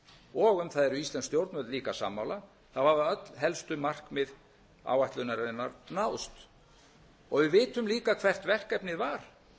og um það eru íslensk stjórnvöld líka sammála hafa öll helstu markmið áætlunarinnar náðst við vitum líka hvert verkefnið var